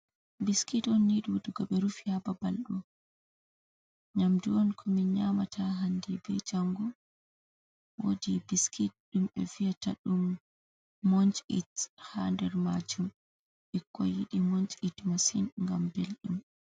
Biskit un ni dudugo be rufi ha babal do nyamdu un ko min nyamata hande be jangu wodi biskit dum be fiyata dum munch it ha nder majum bikko yidi munchit masin gam beldum.